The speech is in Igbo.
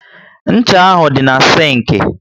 Ncha ahụ dị na sinki